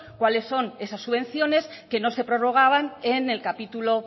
cuáles son esas subvenciones que no se prorrogaban en el capítulo